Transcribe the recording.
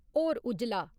होर उज्जला